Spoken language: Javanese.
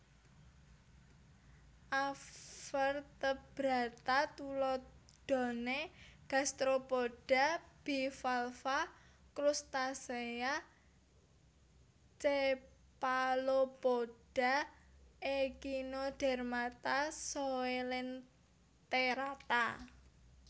Avertebrata tuladhane Gastropoda Bivalva Krustasea Cephalopoda Ekhinodermata Coelenterata